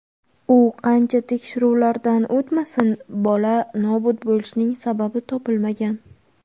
U qancha tekshiruvlardan o‘tmasin, bola nobud bo‘lishining sababi topilmagan.